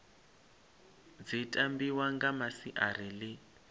dzi tambiwa nga masiari ḽi